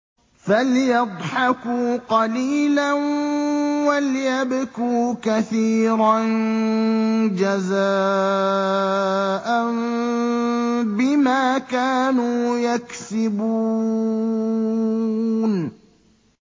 فَلْيَضْحَكُوا قَلِيلًا وَلْيَبْكُوا كَثِيرًا جَزَاءً بِمَا كَانُوا يَكْسِبُونَ